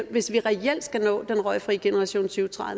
hvis vi reelt skal nå den røgfri generation